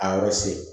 A yɔrɔ se